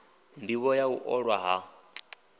ndivho ya u ṅwala ha